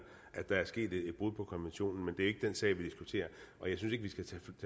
at der er sket et brud på konventionen men det er ikke den sag vi diskuterer og jeg synes